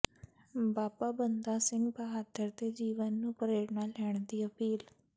ਬਾਬਾ ਬੰਦਾ ਸਿੰਘ ਬਹਾਦਰ ਦੇ ਜੀਵਨ ਤੋਂ ਪ੍ਰੇਰਨਾ ਲੈਣ ਦੀ ਅਪੀਲ